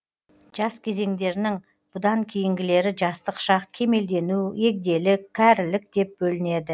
жас кезеңдерінің бұдан кейінгілері жастық шақ кемелдену егделік кәрілік деп бөлінеді